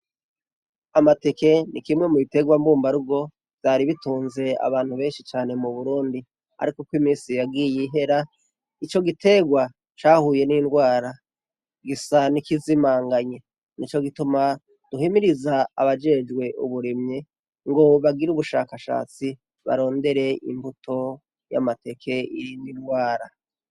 Amateke ni kimwe mu biterwa mbumbarugo vyari bitunze abantu benshi cane mu burundi, ariko imisi yagiye ihera ico gitegwa cahuye n'indwara gisa nikizimanganye ni co gituma duhimiriza abajejwe uburimye ngo bagire ubushakashatsi baronda mbere imbuto y'amateke iri nilwara.